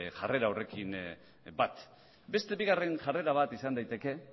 jarrera horrekin bat beste bigarren jarrera bat izan daiteke